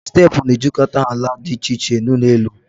Steepụ na-ejikọta ala dị iche iche na ụlọ elụ